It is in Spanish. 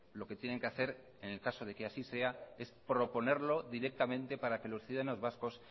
lo que tienen que hacer en el caso de que así sea es proponerlo directamente para que los ciudadanos vascos